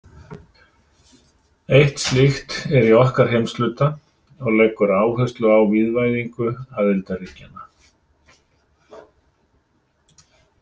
Eitt slíkt er í okkar heimshluta og leggur áherslu á vígvæðingu aðildarríkjanna.